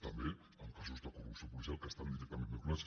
també en casos de corrupció policial que hi estan directament vinculats